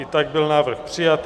I tak byl návrh přijat.